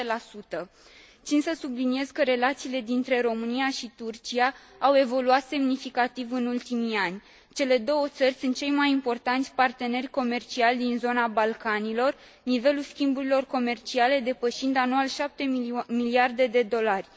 7 Țin să subliniez că relațiile dintre România și Turcia au evoluat semnificativ în ultimii ani. Cele două țări sunt cei mai importanți parteneri comerciali din zona Balcanilor, nivelul schimburilor comerciale depășind anual 7 miliarde de dolari.